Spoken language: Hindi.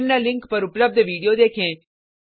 निम्न लिंक पर उपलब्ध विडिओ देखें